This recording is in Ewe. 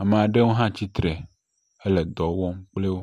Ame aɖewo hã tsi tre hele dɔ wɔm kpli wo.